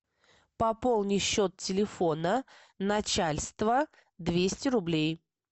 пополни счет телефона начальства двести рублей